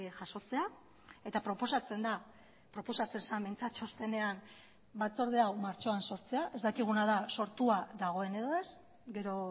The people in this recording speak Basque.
jasotzea eta proposatzen da proposatzen zen behintzat txostenean batzorde hau martxoan sortzea ez dakiguna da sortua dagoen edo ez gero